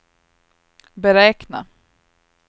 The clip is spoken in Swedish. beräkna